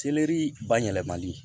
Seleri ba yɛlɛmali